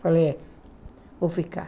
Falei, vou ficar.